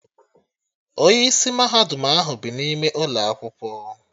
Onye isi mahadum ahụ bi n'ime ụlọ akwụkwọ